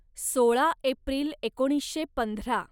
सोळा एप्रिल एकोणीसशे पंधरा